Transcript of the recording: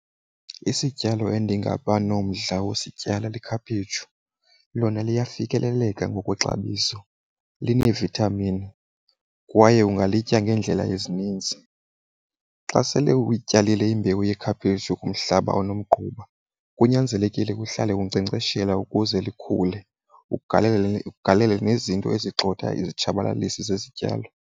Isityalo endingaba nomdla wokusityala likhaphetshu. Lona liyafikeleleka ngokwexabiso, lineevithamini kwaye ungayitya ngeendlela ezininzi. Xa sele uyityalile imbewu yekhaphetshu kumhlaba onomgquba, kunyanzelekile uhlale unkcenkceshela ukuze likhule, ugalele ugalele nezinto ezigxotha izitshabalalisi zezityalo.